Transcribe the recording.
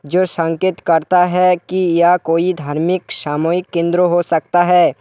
जो संकेत करता है कि या कोई धार्मिक सामूहिक केंद्र हो सकता है।